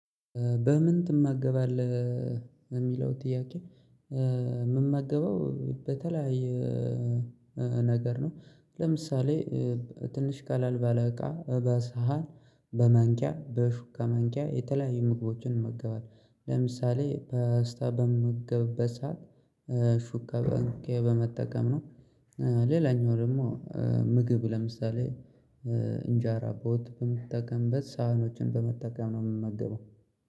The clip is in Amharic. በምን ትማገባለህ የሚለው ጥያቄ? ምማገበው በተለያየ ነገር ነው። ለምሳሌ ትንሽ ቀላል ባለቃ በሳህን በማንኪያ በሹክ ከማንኪያ የተለያዩ ምግቦችን መገባት ለምሳሌ ፖስታ በምገ በምገበሳት ሹከበንኬ በመጠቀም ነው። ሌላኛው ደግሞ ምግብ ለምሳሌ እንጀራ በወጥ በምትጠቀምበት ሳህኖችን በመጠቀም ነው የምመገበው